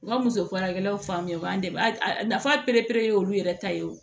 U ka muso farakɛlaw fan min u b'an dɛmɛ a nafa perepere ye olu yɛrɛ ta ye o